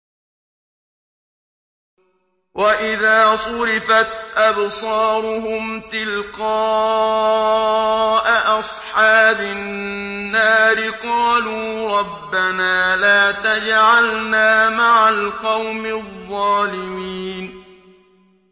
۞ وَإِذَا صُرِفَتْ أَبْصَارُهُمْ تِلْقَاءَ أَصْحَابِ النَّارِ قَالُوا رَبَّنَا لَا تَجْعَلْنَا مَعَ الْقَوْمِ الظَّالِمِينَ